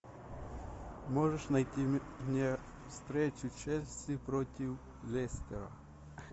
можешь найти мне встречу челси против лестера